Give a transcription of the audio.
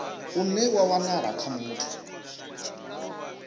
une wa wanala kha muthu